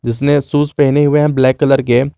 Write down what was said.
जिसने शूज पहने हुए हैं ब्लैक कलर के --